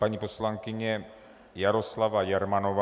Paní poslankyně Jaroslava Jermanová.